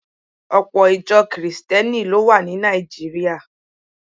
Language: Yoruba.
Ọpọ̀ Ìjọ Kìrìsìtíẹ́nì ló wà ní Nàìjíríà